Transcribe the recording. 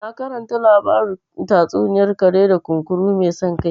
Na karanta labarin tatsuniyar kare da kunkuru mai san kai